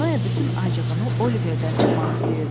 Noe bütün acığını Oliverdən çıxmaq istəyirdi.